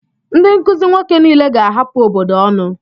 Ndị nkuzi nwoke niile ga-ahapụ obodo ọnụ.